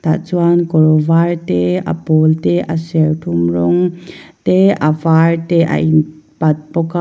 tah chuan kawr var te a pawl te a serthlum rawng te a var te a in pat bawk a.